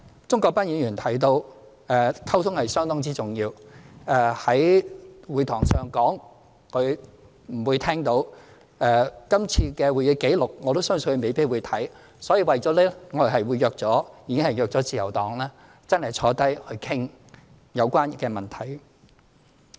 鍾國斌議員提到溝通相當重要，今天議事堂上的說話，他可能聽不到，這次的會議紀錄，我相信他也未必會看，為此我們已經約見自由黨，大家真的坐下來商討有關問題。